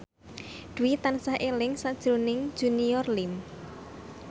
Dwi tansah eling sakjroning Junior Liem